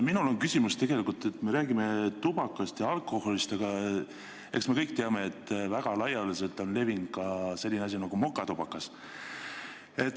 Minul on küsimus tegelikult selle kohta, et me räägime küll tubakast ja alkoholist, aga eks me kõik teame, et väga laialdaselt on levinud ka selline asi nagu mokatubakas.